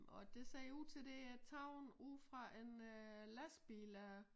Og det ser ud til det taget ude fra en øh lastbil øh